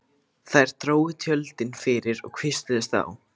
Þær drógu tjöldin fyrir og hvísluðust á.